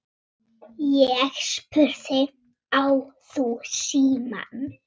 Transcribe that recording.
Ég spurði: Á þú símann?